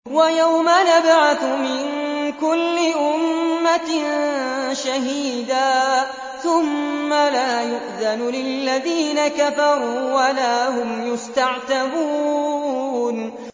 وَيَوْمَ نَبْعَثُ مِن كُلِّ أُمَّةٍ شَهِيدًا ثُمَّ لَا يُؤْذَنُ لِلَّذِينَ كَفَرُوا وَلَا هُمْ يُسْتَعْتَبُونَ